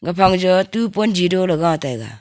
kafang ja tu ponji doley ga taiga.